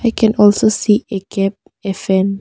I can also see a cap a fan.